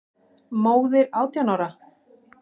Móðir átján ára?